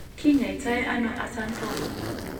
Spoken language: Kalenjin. Kinyoito ano acanthoma